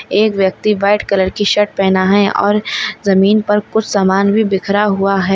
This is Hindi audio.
एक व्यक्ति व्हाईट कलर की शर्ट पहना है और जमीन पर कुछ सामान बिखरा हुआ हैं।